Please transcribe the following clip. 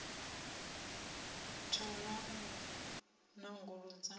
u a thola u nanguludza